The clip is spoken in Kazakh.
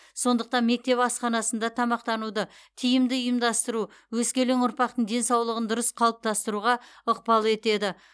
сондықтан мектеп асханасында тамақтануды тиімді ұйымдастыру өскелең ұрпақтың денсаулығын дұрыс қалыптастыруға ықпал етеді